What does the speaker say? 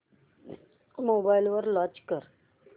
mobile वर launch कर